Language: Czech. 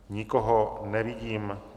Nikoho nevidím.